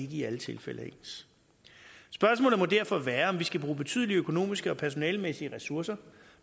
i alle tilfælde er ens spørgsmålet må derfor være om vi skal bruge betydelige økonomiske og personalemæssige ressourcer